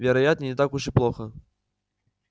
вероятно не так уж и плохо